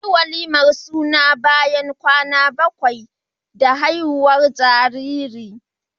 Anayin walimar suna bayan kwana bakwai da haihuwar jariri